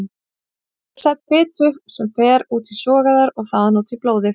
Þau leysa upp fitu sem fer út í sogæðar og þaðan út í blóðið.